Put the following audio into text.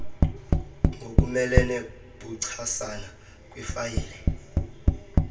ngokumelene buchasana kwifayile